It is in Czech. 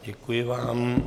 Děkuji vám.